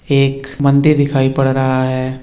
एक मंदिर दिखाई पड़ रहा है।